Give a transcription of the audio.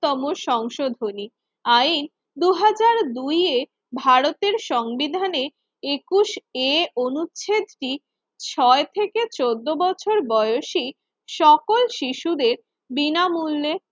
শ তম সংশোধনী আইন দুই হাজার দুই ভারতের সংবিধানে একুশ এ অনুচ্ছেদটি ছয় থেকে চোদ্দ বছর বয়সি সকল শিশুদের বিনামূল্যে